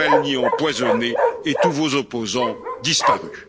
Navalny empoisonné et tous vos opposants disparus.